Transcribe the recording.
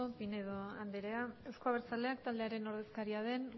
pinedo andrea euzko abertzaleak taldearen ordezkaria den